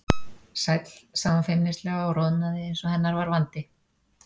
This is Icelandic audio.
Sæll sagði hún feimnislega og roðnaði eins og hennar var vandi.